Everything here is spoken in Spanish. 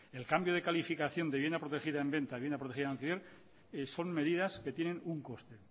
el cambio de calificación de vivienda protegida en venta y bien protegida en alquiler son medidas que tienen un costo